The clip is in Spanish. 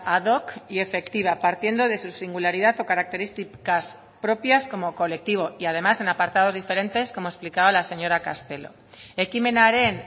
ad hoc y efectiva partiendo de su singularidad o características propias como colectivo y además en apartados diferentes como explicaba la señora castelo ekimenaren